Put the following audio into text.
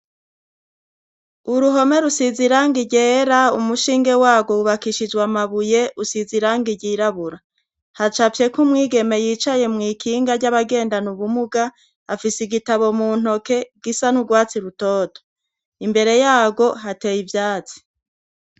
Uruhome rusize iranga iryera ,umushinge warwo wubakishijwe amabuye usiz' irangi ry'irabura ,hacafye k'umwigeme yicaye mw' ikinga ry'abagenda ubumuga ,afise igitabo mu ntoke gisa n'urwatsi rutoto, imbere yarwo hateye ivyatsi.